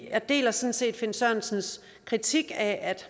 jeg deler sådan set herre finn sørensens kritik af at